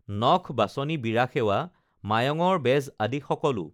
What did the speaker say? নখ বাচনি বীৰা সেৱা মায়ঙৰ বেজ আদি সকলো